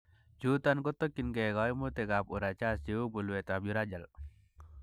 Chuton kotiokingei koimutikab urachas cheu mulwetab urachal.